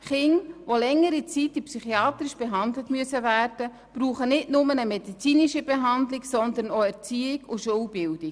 Kinder, die über eine längere Zeit psychiatrisch behandelt werden müssen, brauchen nicht nur eine medizinische Behandlung, sondern auch Erziehung und Schulbildung.